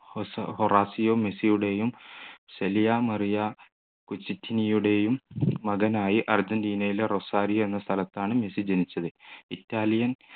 ഹൊറാസി മെസ്സിയുടെയും ശലിയാ മറിയ യുടെയും മകനായി അർജൻറീനയിലെ റൊസാരി എന്ന സ്ഥലത്താണ് മിസ്സ് ജനിച്ചത് ഇറ്റാലിയൻ